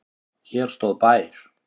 Hér stóð bær.